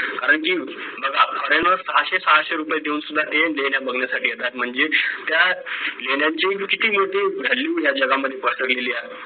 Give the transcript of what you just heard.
कारण की बघा foreigner सहाशे सहाशे रुपय देऊन सुद्धा ते लेण्या बघण्यासाठी येतात म्हणजे त्या लेण्यांची किती मोठी value या जगामध्ये पसरलेली आहे